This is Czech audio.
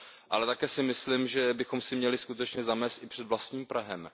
Ale také si myslím, že bychom si měli skutečně zamést i před vlastním prahem.